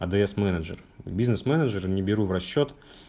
адс менеджер бизнес-менеджера не беру в расчёт